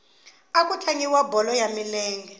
a ku tlangiwa bolo ya milenge